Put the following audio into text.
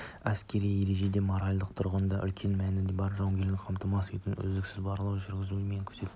әскери ережеде моральдық тұрғыдан да үлкен мәні бар жауынгерлікті қамтамасыз етуге үздіксіз барлау жүргізу мен күзетке